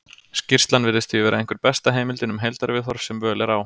Skýrslan virðist því vera einhver besta heimildin um heildarviðhorf sem völ er á.